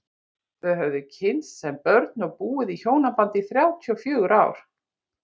Þau höfðu kynnst sem börn og búið í hjónabandi í þrjátíu og fjögur ár.